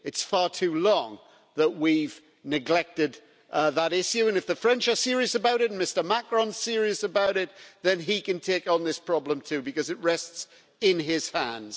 It's for far too long that we have neglected that issue and if the French are serious about it, and Mr Macron is serious about it, then he can take on this problem too, because it rests in his hands.